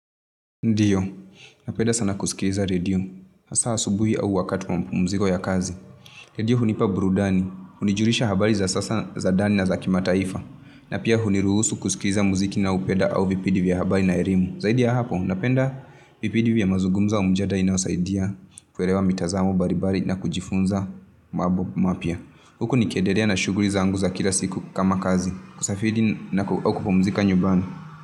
Ndiyo, napeda sana kusikiliza redio, hasa asubuhi au wakati wa mapumziko ya kazi. Redio hunipa burudani, hunijulisha habari za sasa za ndani na za kimataifa, na pia huniruhusu kuskiliza muziki ninaopeda au vipindi vya habari na elimu. Zaidi ya hapo, napenda vipindi vya mazungumzo ya mjadala inayosaidia, kuelewa mitazamo mbalimbali na kujifunza mambo mapya. Huku nikiendelea na shughuli zangu za kila siku kama kazi. Kusafiri na kupumuzika nyumbani.